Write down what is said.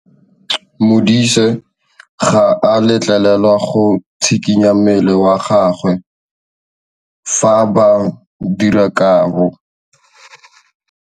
Modise ga a letlelelwa go tshikinya mmele wa gagwe fa ba dira karô.